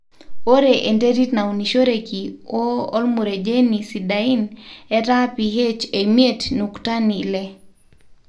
ore enterit naunishoreki woo olmurejeni sidain, etaa ph e imiet nuktani ile